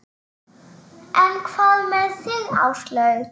En hvað með þig Áslaug?